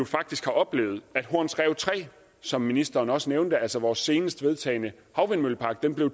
faktisk har oplevet at horns rev tre som ministeren også nævnte altså vores seneste vedtagne havvindmøllepark blev